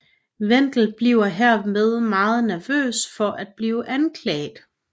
Wendel bliver herved meget nervøs for at blive anklaget